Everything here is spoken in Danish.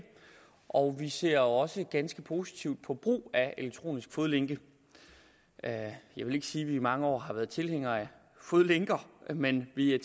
og vi ser også ganske positivt på brug af elektronisk fodlænke jeg vil ikke sige at vi i mange år har været tilhængere af fodlænker men vi er